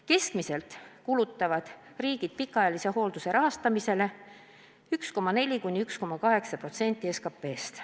Keskmiselt kulutavad riigid pikaajalise hoolduse rahastamisele 1,4–1,8% SKP-st.